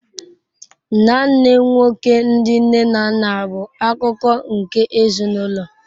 Nnanne nwoke ndi nne na nna bụ akụkụ nke ezinụlọ.